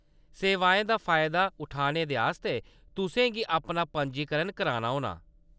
सेवाओं दा फायदा उठाने दे आस्तै तुसें गी अपना पंजीकरण कराना होना।